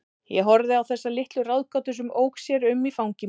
Ég horfði á þessa litla ráðgátu sem ók sér um í fangi mínu.